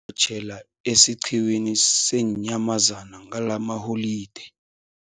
tjhela esiqhiwini seenyamazana ngalamaholideyi.